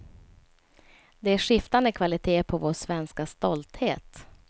Det är skiftande kvalitet på vår svenska stolthet.